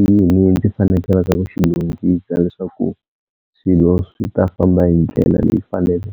i yini ndzi fanekelaka ku xi lunghisa leswaku swilo swi ta famba hi ndlela leyi .